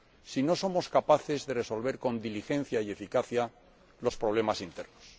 si no somos capaces de resolver con diligencia y eficacia los problemas internos?